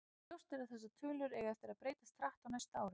Ljóst er að þessar tölur eiga eftir að breytast hratt á næstu árum.